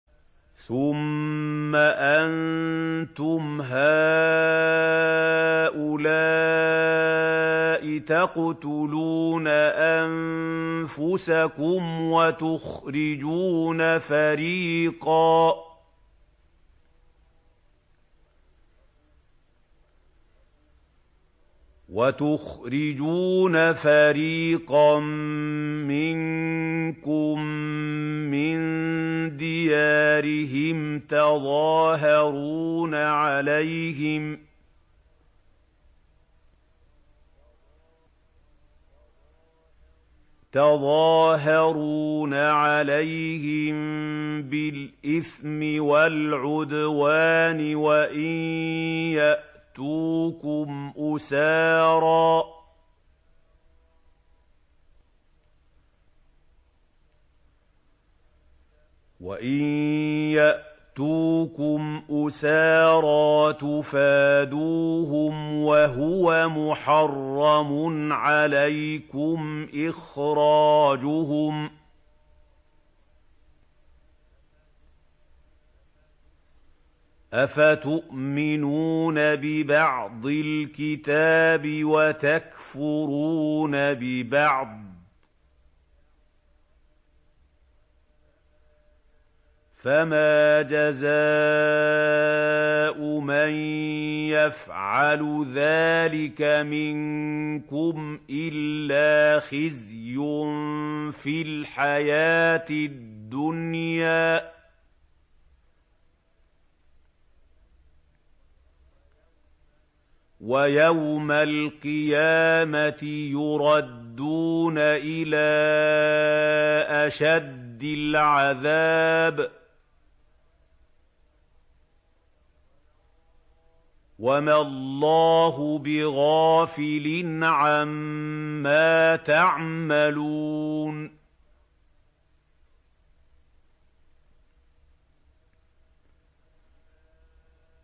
ثُمَّ أَنتُمْ هَٰؤُلَاءِ تَقْتُلُونَ أَنفُسَكُمْ وَتُخْرِجُونَ فَرِيقًا مِّنكُم مِّن دِيَارِهِمْ تَظَاهَرُونَ عَلَيْهِم بِالْإِثْمِ وَالْعُدْوَانِ وَإِن يَأْتُوكُمْ أُسَارَىٰ تُفَادُوهُمْ وَهُوَ مُحَرَّمٌ عَلَيْكُمْ إِخْرَاجُهُمْ ۚ أَفَتُؤْمِنُونَ بِبَعْضِ الْكِتَابِ وَتَكْفُرُونَ بِبَعْضٍ ۚ فَمَا جَزَاءُ مَن يَفْعَلُ ذَٰلِكَ مِنكُمْ إِلَّا خِزْيٌ فِي الْحَيَاةِ الدُّنْيَا ۖ وَيَوْمَ الْقِيَامَةِ يُرَدُّونَ إِلَىٰ أَشَدِّ الْعَذَابِ ۗ وَمَا اللَّهُ بِغَافِلٍ عَمَّا تَعْمَلُونَ